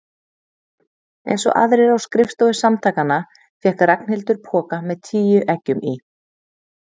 Einsog aðrir á skrifstofu Samtakanna fékk Ragnhildur poka með tíu eggjum í.